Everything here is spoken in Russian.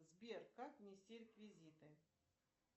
сбер как внести реквизиты